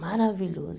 Maravilhoso.